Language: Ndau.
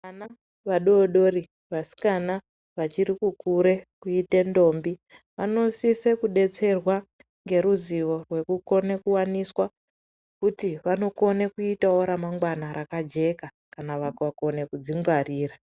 Vana vadodori vasikana vachiri kukura kuita ndombi vanosisa kudetserwa neruzivo rwekuti vanokona kuwaniswa vakone kuitawo ramangwana rakajeka kana vakakona kudzingwarira.